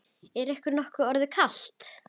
Er ykkur nokkuð orðið kalt?